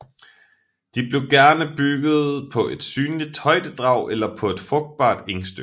De blev gerne bygget på et synligt højdedrag eller på et frugtbart engstykke